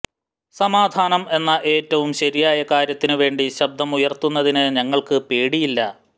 സമാധാനം എന്ന എറ്റവും ശരിയായ കാര്യത്തിന് വേണ്ടി ശബ്ദമുയര്ത്തുന്നതിന് ഞങ്ങള്ക്ക് പേടിയില്ല